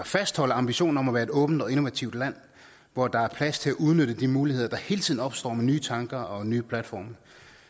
fastholde ambitionen om at være et åbent og innovativt land hvor der er plads til at udnytte de muligheder der hele tiden opstår med nye tanker og nye platforme